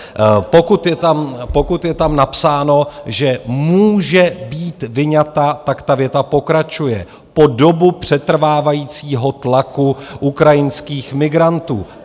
Pokud je tam napsáno, že může být vyňata, tak ta věta pokračuje: po dobu přetrvávajícího tlaku ukrajinských migrantů.